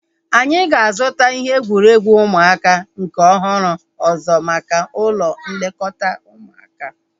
Anyị ga-azuta ihe egwuregwu ụmụaka nke ọhụrụ ọzọ maka ụlọ nlekọta ụmụaka